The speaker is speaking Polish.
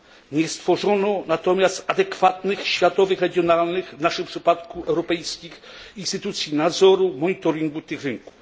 Nie stworzono natomiast adekwatnych światowych, regionalnych, w naszym przypadku europejskich, instytucji nadzoru i monitoringu tych rynków.